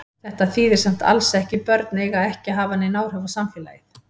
Þetta þýðir samt alls ekki börn eiga ekki að hafa nein áhrif á samfélagið.